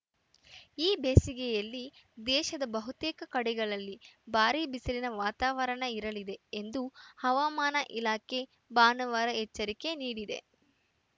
ಈ ಬೇಸಿಗೆಯಲ್ಲಿ ದೇಶದ ಬಹುತೇಕ ಕಡೆಗಳಲ್ಲಿ ಭಾರೀ ಬಿಸಿಲಿನ ವಾತಾವರಣ ಇರಲಿದೆ ಎಂದು ಹವಾಮಾನ ಇಲಾಖೆ ಭಾನುವಾರ ಎಚ್ಚರಿಕೆ ನೀಡಿದೆ